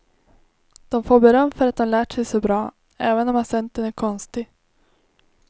De får beröm för att de lärt sig så bra, även om accenten är konstig.